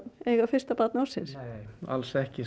eiga fyrsta barn ársins nei alls ekki